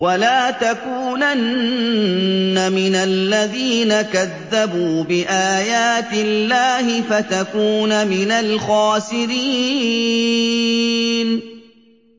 وَلَا تَكُونَنَّ مِنَ الَّذِينَ كَذَّبُوا بِآيَاتِ اللَّهِ فَتَكُونَ مِنَ الْخَاسِرِينَ